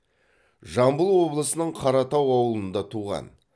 жамбыл облысының қаратау ауылында туған